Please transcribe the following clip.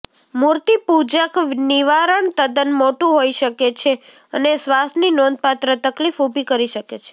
મૂર્તિપૂજક નિવારણ તદ્દન મોટું હોઈ શકે છે અને શ્વાસની નોંધપાત્ર તકલીફ ઊભી કરી શકે છે